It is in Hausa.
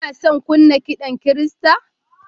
Kuna son kunna kiɗan Kirista?